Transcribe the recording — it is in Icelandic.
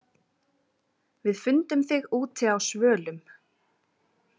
Við fundum þig úti á svölum.